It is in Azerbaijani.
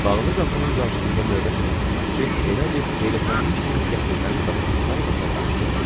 Bağlı qapının qarşısında növbə çəkən xidmətçi elə bil heyrətlənmiş kimi qəfildən qapını tayba tay açdı.